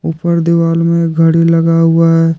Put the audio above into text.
ऊपर दीवाल में घड़ी लगा हुआ है।